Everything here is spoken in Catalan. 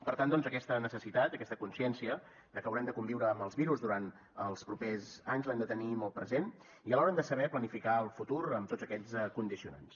per tant doncs aquesta necessitat aquesta consciència de que haurem de conviure amb els virus durant els propers anys l’hem de tenir molt present i alhora hem de saber planificar el futur amb tots aquests condicionants